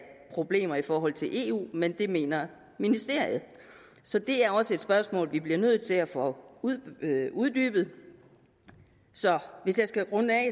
problemer i forhold til eu men det mener ministeriet så det er også et spørgsmål vi bliver nødt til at få uddybet så hvis jeg skal runde af